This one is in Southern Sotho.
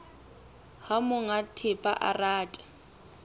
ha monga thepa a rata